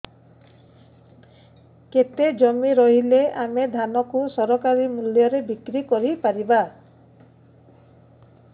କେତେ ଜମି ରହିଲେ ଆମେ ଧାନ କୁ ସରକାରୀ ମୂଲ୍ଯରେ ବିକ୍ରି କରିପାରିବା